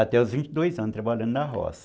Até os vinte e dois anos trabalhando na roça.